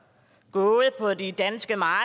gået på de danske marker